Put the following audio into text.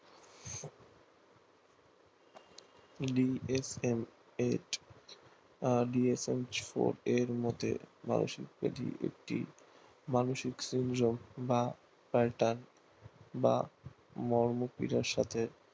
DFN eight আর DFN মতে মানসিক মানসিক সমীরণ বা বা মর্ম পীড়ার সাতে